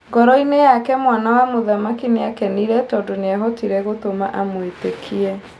Ngoroinĩ yake mwana wa mũthamaki nĩakenire tondũ nĩahotire gũtũma amwĩtĩkie.